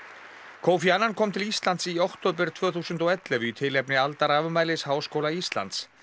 kofi annan kom til Íslands í október tvö þúsund og ellefu í tilefni aldarafmælis Háskóla Íslands